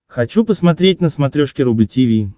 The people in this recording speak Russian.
хочу посмотреть на смотрешке рубль ти ви